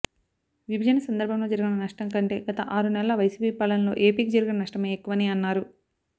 విభజన సందర్భంలో జరిగిన నష్టం కంటే గత ఆరు నెలల వైసిపి పాలనలో ఏపీకి జరిగిన నష్టమే ఎక్కువని అన్నారు